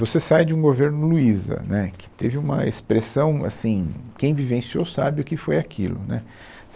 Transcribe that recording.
Você sai de um governo Luiza, né, que teve uma expressão assim, quem vivenciou sabe o que foi aquilo, né